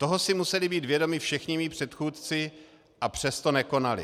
Toho si museli být vědomi všichni mí předchůdci, a přesto nekonali.